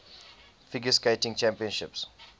figure skating championships